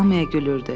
Hamıya gülürdü.